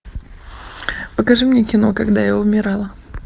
покажи мне кино когда я умирала